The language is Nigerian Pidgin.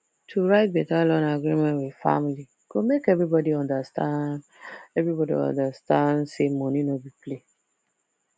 to write better loan agreement with family go make everybody understand everybody understand say money no be play